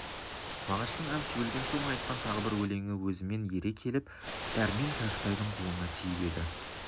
мағаштың әбіш өлген соң айтқан тағы бір өлеңі өзімен ере келіп дәрмен кәкітайдың қолына тиіп еді